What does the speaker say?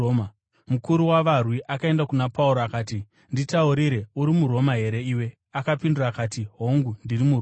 Mukuru wavarwi akaenda kuna Pauro akati, “Nditaurire, uri muRoma here iwe?” Akapindura akati, “Hongu, ndiri muRoma.”